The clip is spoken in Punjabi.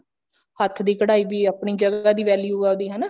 ਹੱਥ ਦੀ ਕਢਾਈ ਦੀ ਆਪਣੀ ਜਗ੍ਹਾ ਦੀ value ਉਹਦੀ ਹਨਾ